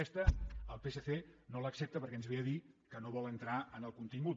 aquesta el psc no l’accepta perquè ens ve a dir que no vol entrar en el contingut